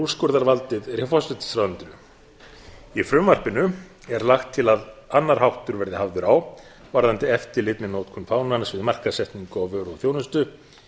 úrskurðarvaldið er hjá forsætisráðuneytinu í frumvarpinu er lagt til að annar háttur verði hafður á varðandi eftirlit með notkun fánans við markaðssetningu við vöru og þjónustu